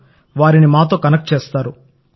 లు వారిని మాతో కనెక్ట్ చేస్తారు